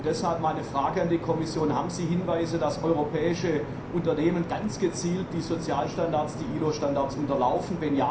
Deshalb meine Frage an die Kommission Haben Sie Hinweise darauf, dass europäische Unternehmen ganz gezielt die Sozialstandards, die ILO Standards unterlaufen?